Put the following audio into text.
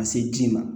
Ka se ji ma